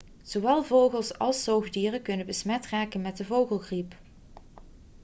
zowel vogels al zoogdieren kunnen besmet raken met de vogelgriep